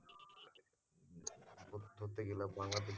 ধরতে গেলে বাংলাদেশ,